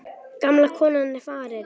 Gamla konan er farin.